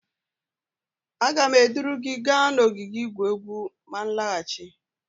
Aga m eduru gi gaa n'ogige igwu egwu ma m nlaghachi